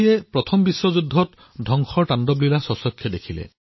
প্ৰথম বিশ্বযুদ্ধত বিশ্বই বিনাশৰ তাণ্ডৱ প্ৰত্যক্ষ কৰিছিল